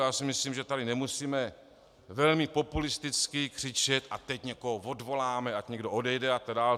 Já si myslím, že tady nemusíme velmi populisticky křičet - a teď někoho odvoláme!, ať někdo odejde! a tak dále.